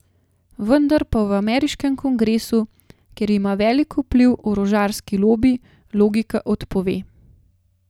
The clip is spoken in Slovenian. Vendar pa v ameriškem kongresu, kjer ima velik vpliv orožarski lobi, logika odpove.